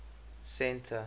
centre